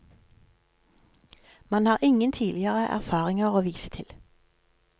Man har ingen tidligere erfaringer å vise til.